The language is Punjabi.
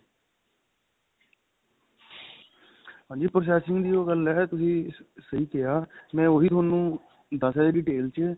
ਹਾਂਜੀ processing ਦੀ ਉਹ ਗੱਲ ਏ ਤੁਸੀਂ ਸਹੀ ਕਿਹਾ ਮੈਂ ਉਹੀ ਤੁਹਾਨੂੰ ਦਸ ਰਿਹਾ ਸੀ detail ਚ